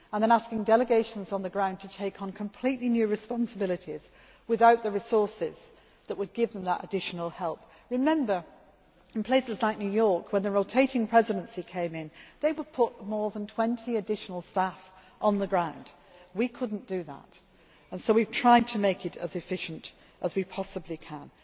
something new and then asking delegations on the ground to take on completely new responsibilities without the resources that would give them that additional help. Remember, in places like New York when the rotating Presidency came in, they put more than 20 additional staff on the ground. We could not do that, and so we have tried to make it as efficient